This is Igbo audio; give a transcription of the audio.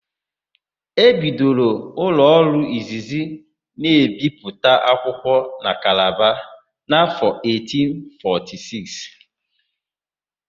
E bidoro ụlọọrụ izizi na-ebipụta akwụkwọ na Kalaba n'áfọ̀ 1846.